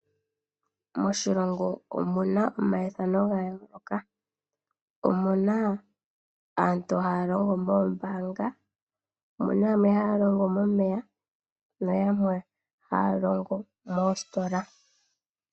Moshilongo omu na omaithano ga yooloka. Omuna aantu haya longo moombaanga, aantu haya longo momeya nayamwe haya longo moositola.